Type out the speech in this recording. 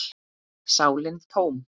sálin tóm.